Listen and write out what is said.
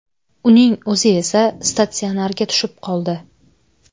Uning o‘zi esa statsionarga tushib qoldi.